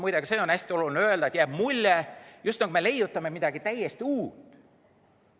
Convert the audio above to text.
Muide, hästi oluline on öelda ka seda, et jääb mulje, nagu me leiutaksime midagi täiesti uut.